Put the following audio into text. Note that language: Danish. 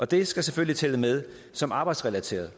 det skal selvfølgelig tælle med som arbejdsrelateret